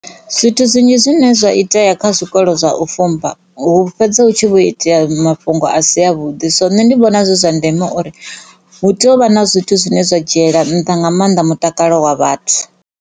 Zwithu zwinzhi zwine zwa itea kha zwikolo zwa u fumba hu fhedza hu tshi vho itea mafhungo a si a vhuḓi so nṋe ndi vhona zwi zwa ndeme uri hu tea u vha na zwithu zwine zwa dzhiela nṱha nga mannḓa mutakalo wa vhathu.